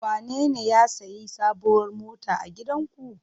Wanene ya sayi sabuwar mota a gidanku?